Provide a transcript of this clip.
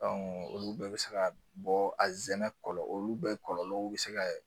olu bɛɛ bɛ se ka bɔ a zɛnɛ kɔlɔlɔ olu bɛɛ kɔlɔlɔw bɛ se ka